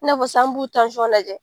I n'a fɔ sisan an b'u tansɔn kajɛ